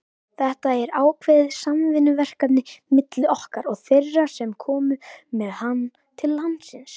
Þetta er ákveðið samvinnuverkefni milli okkar og þeirra sem komu með hann til landsins.